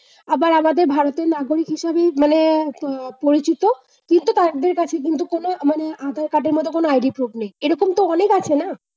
আবার আমাদের ভারতের নাগরিক হিসেবে মানে আহ পরিচিত। কিন্তু তাদের কাছে কিন্তু মানে আধার-কার্ড এর মত কোন ID proof নেয়। এইরকম তো অনেক আছে না?